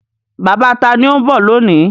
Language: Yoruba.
Bàbá ta ni ó ń bọ̀ lónìí?